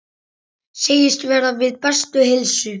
Segist vera við bestu heilsu.